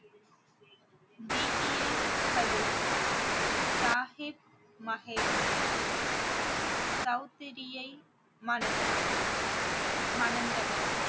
கதூர் சாகிப் மஹேமே சௌதிரியை மணந்தார் மணந்தனர்